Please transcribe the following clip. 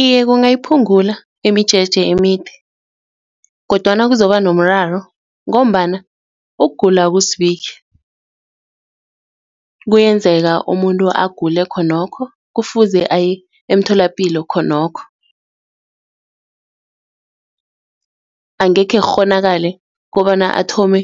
Iye, kungasiphungula imijeje emide kodwana kuzoba nomraro ngombana ukugula akuzibiki kuyenzeka umuntu agule khonokho kufuze aye emtholapilo khonokho angeke kukghonakale kobana athome